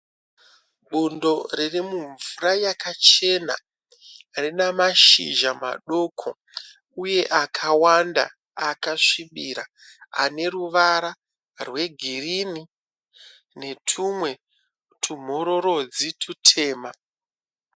Bundo ririmumvura yakachena. Rine mashizha madoko uye akawanda akasvibira aneruvara rwegirini netumwe tumhororodzi tutema.